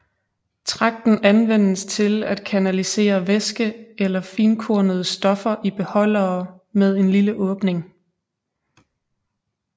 Tragten anvendes til at kanalisere væske eller finkornede stoffer i beholdere med en lille åbning